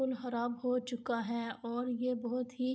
اور بہت ہی